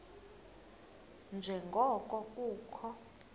nje ngoko kukho